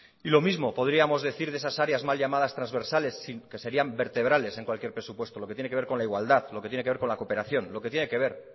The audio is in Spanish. y lo mismo podríamos decir de esas áreas mal llamadas transversales que serían vertebrales en cualquier presupuesto lo que tiene que ver con la igualdad lo que tiene que ver con la cooperación lo que tiene que ver